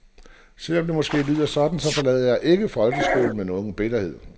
Selv om det måske lyder sådan, så forlader jeg ikke folkeskolen med nogen bitterhed.